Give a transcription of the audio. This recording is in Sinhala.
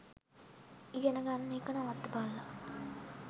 ඉගෙන ගන්න එක නවත්තපල්ලා